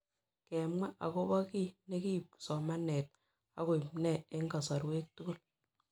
Kemwa akopo kiy ne kiip somanet akoip nee eng' kasarwek tugul